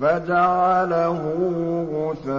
فَجَعَلَهُ غُثَاءً